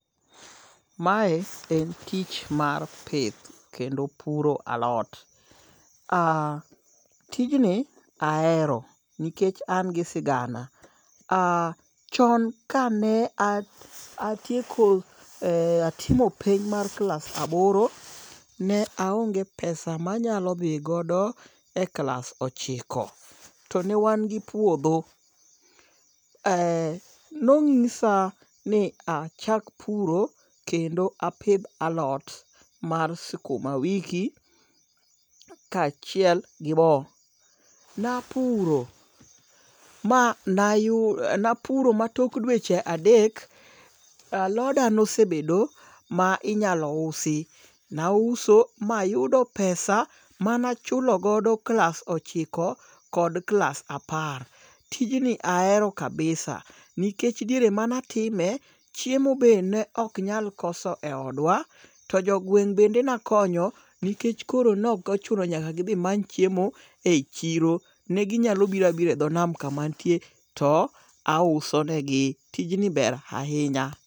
Mae en tich mar pith kendo puro alot. Tijni ahero nikech an gi sigana. Chon kane atieko atimo penj mar klas aboro. Ne aonge pesa manyalo dhi godo e klas ochiko. To ne wan gi puodho. Nonyisa ni achak puro kendo apidh alot mar sukuma wiki ka achiel gi bo. Napuro ma tok dweche adek aloda nosebedo ma inyalo usi. Nauso mayudo pesa mana chulo godo klas ochiko kod klas apar. Tijni ahero kabisa. Nikech diere mane atime chiemo be ne ok nyal koso e odwa, To jogweng' bende nakonyo nikech koro nokochuno nyaka gidhi many chiemo eyi chiro. Ne ginyalo biro abira e dho nam kama antie to aouso ne gi. Tijni ber ahinya.